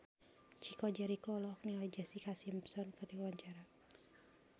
Chico Jericho olohok ningali Jessica Simpson keur diwawancara